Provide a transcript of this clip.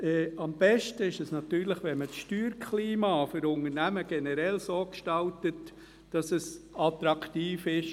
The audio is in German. Am Besten ist es natürlich, wenn man das Steuerklima für Unternehmen generell so gestaltet, dass es attraktiv ist.